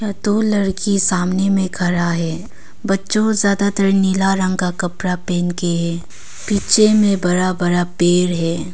यहा दो लड़की सामने में खड़ा है बच्चों ज्यादातर नीला रंग का कपड़ा पहन के है पीछे में बड़ा बड़ा पेड़ है।